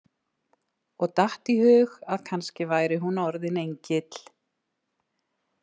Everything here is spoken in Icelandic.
Og datt í hug að kannski væri hún orðin engill.